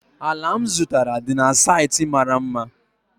ala m zụtara dị na saịtị mara mma